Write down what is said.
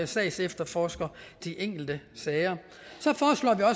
sagsefterforsker de enkelte sager